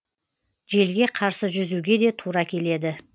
желге қарсы жүзуге де тура келеді